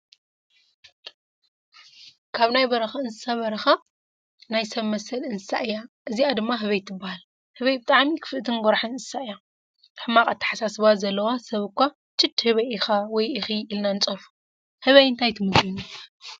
ካብ ናይ በረካ እንሳስ በረካ ናይ ሰብ መሰል እንስሳ እያ እዚኣ ድማ ህበይ ትበሃል ህበይ ብጣዕሚ ክፍእትን ጎራሕን አንስሳ እያ። ሕማቅ ኣተሓሳስባ ዘለዎ ሰብ እኳ ችድ ህበይ ኢኪ/ካ ኢልና ንፀርፎ። ህበይ እንታይ ትምገብ ?